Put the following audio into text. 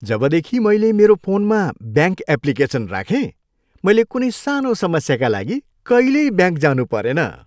जबदेखि मैले मेरो फोनमा ब्याङ्क एप्लिकेसन राखेँ, मैले कुनै सानो समस्याका लागि कहिल्यै ब्याङ्क जानु परेन।